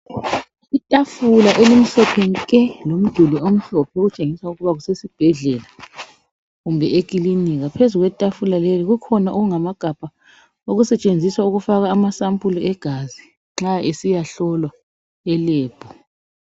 Itafula elimhlophe nke lomduli omhlophe okutshengisa ukuba kusesibhedlela kumbe ekilinika. Phezu kwetafula leli kukhona okungamagabha okusetshenziswa ukufaka ama sampula egazi l nxa esiya hlolwa elab.